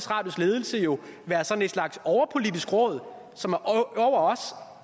radios ledelse jo være sådan en slags overpolitisk råd som er over os